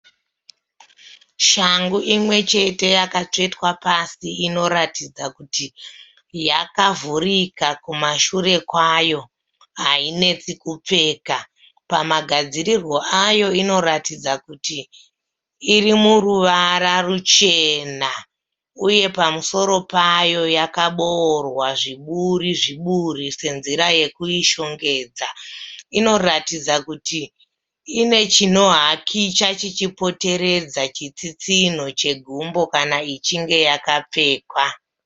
Shangu imwe chete yakatsvetwa pasi inoratidza kuti yakavhurika kumashure kwayo hainetsi kupfeka. Pamagadzirirwo ayo inoratidza kuti iri muruvara ruchena uye pamusoro payo yakaboorwa zviburi zviburi senzira yekuishongedza. Inoratidza kuti ine chinohakicha chichipoteredza chitsitsinho chegumbo kana ichinge yakapfekwa.